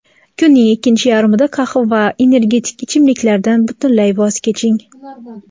Kunning ikkinchi yarmida qahva va energetik ichimliklardan butunlay voz keching;.